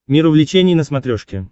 мир увлечений на смотрешке